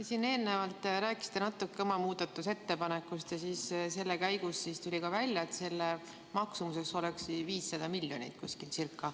Te siin eelnevalt rääkisite natuke oma muudatusettepanekust ja selle käigus tuli välja, et selle maksumuseks oleks ca 500 miljonit.